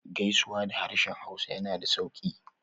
Gaisuwa da harshen hausa yana da sauƙi